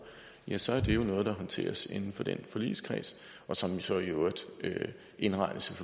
så er det jo noget der håndteres inden for den forligskreds og som jo så i øvrigt indregnes